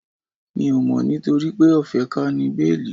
Mi ò mọ̀ nitoripe o fe ka ni béélì